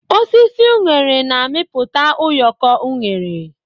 Osisi unere na-amịpụta ụyọkọ unere.